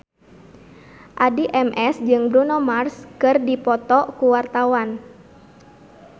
Addie MS jeung Bruno Mars keur dipoto ku wartawan